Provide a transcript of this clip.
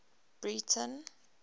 breyten